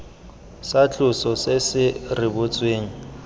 sa tloso se se rebotsweng